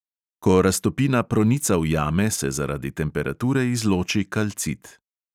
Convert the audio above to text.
Ko raztopina pronica v jame, se zaradi temperature izloči kalcit.